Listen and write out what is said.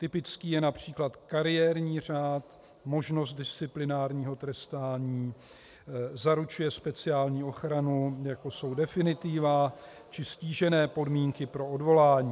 Typický je například kariérní řád, možnost disciplinárního trestání, zaručuje speciální ochranu, jako jsou definitiva či ztížené podmínky pro odvolání.